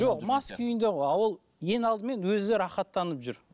жоқ мас күйінде ғой а ол ең алдымен өзі рахаттанып жүр